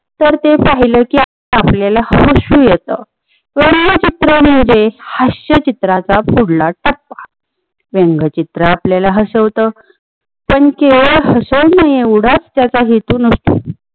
तर ते पाहिलं कि आपल्याला हसू येत. व्यंग्य चित्र म्हणजे हास्यचित्राचा पुढला टप्पा. व्यंग्य चित्र आपल्याला हसवत पण केवळ हसवण्याएवढाच त्याचा हेतू नसतो